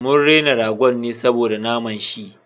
Mun rena ragon ne saboda na naman shi